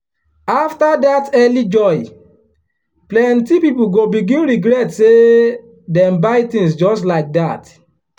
after that early joy plenty people go begin regret say dem buy things just like that.